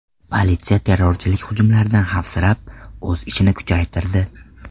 Politsiya terrorchilik hujumlaridan xavfsirab, o‘z ishini kuchaytirdi.